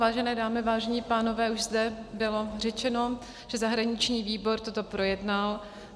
Vážené dámy, vážení pánové, už zde bylo řečeno, že zahraniční výbor toto projednal.